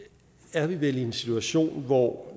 er vi vel i en situation hvor